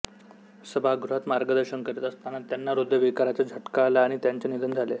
सभागृहात मार्गदर्शन करीत असताना त्यांना हृदयविकाराचा झटका आला आणि त्यांचे निधन झाले